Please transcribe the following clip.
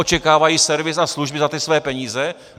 Očekávají servis a služby za ty svoje peníze?